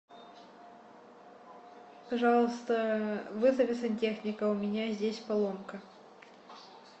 пожалуйста вызови сантехника у меня здесь поломка